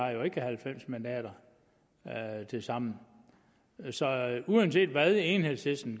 jo ikke halvfems mandater tilsammen så uanset hvad enhedslisten